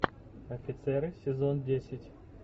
офицеры сезон десять